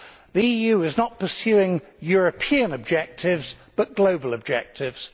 The EU is not pursuing European objectives, but global objectives.